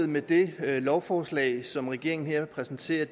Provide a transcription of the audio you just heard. med det lovforslag som regeringen her præsenterer